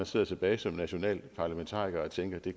sidder tilbage som nationalparlamentariker og tænker at det